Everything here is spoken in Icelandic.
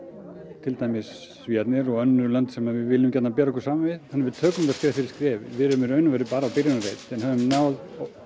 til dæmis Svíarnir og önnur lönd sem við viljum gjarnan bera okkur saman við við tökum þetta skref fyrir skref við erum í raun og veru bara á byrjunarreit en höfum náð